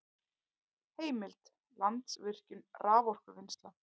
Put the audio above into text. Heimild: Landsvirkjun- raforkuvinnsla